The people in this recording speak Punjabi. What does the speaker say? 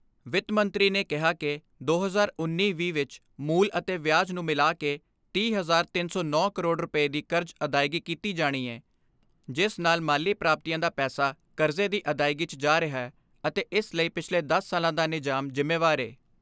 ਵਿੱਤ ਮੰਤਰੀ ਨੇ ਕਿਹਾ ਕਿ ਦੋ ਹਜ਼ਾਰ ਉੱਨੀ ਵੀਹ ਵਿਚ ਮੂਲ ਅਤੇ ਵਿਆਜ ਨੂੰ ਮਿਲਾ ਕੇ ਤੀਹ, ਤਿੰਨ ਸੌ ਨੌਂ ਕਰੋੜ ਰੁਪਏ ਦੀ ਕਰਜ਼ ਅਦਾਇਗੀ ਕੀਤੀ ਜਾਣੀ ਏ, ਜਿਸ ਨਾਲ ਮਾਲੀ ਪ੍ਰਾਪਤੀਆਂ ਦਾ ਪੈਸਾ ਕਰਜ਼ੇ ਦੀ ਅਦਾਇਗੀ 'ਚ ਜਾ ਰਿਹੈ ਅਤੇ ਇਸ ਲਈ ਪਿਛਲੇ ਦਸ ਸਾਲਾਂ ਦਾ ਨਿਜ਼ਾਮ ਜਿੰਮੇਵਾਰ ਏ।